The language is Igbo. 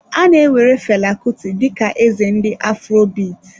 A na-ewere Fela Kuti dị ka eze ndị afrobit.